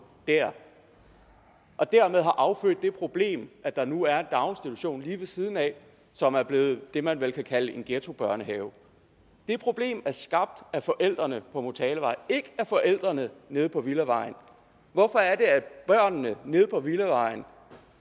der og dermed har affødt det problem at der nu er en daginstitution lige ved siden af som er blevet det man vel kan kalde en ghettobørnehave det problem er skabt af forældrene på motalavej og ikke af forældrene nede på villavejen hvorfor er det at børnene nede på villavejen